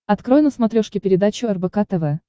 открой на смотрешке передачу рбк тв